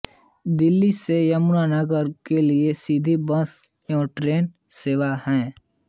दिल्ली से यमुना नगर के लिए सीधी बस व ट्रेन सेवा है